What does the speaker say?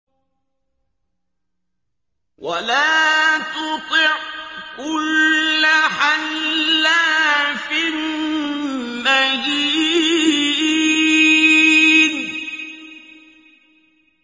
وَلَا تُطِعْ كُلَّ حَلَّافٍ مَّهِينٍ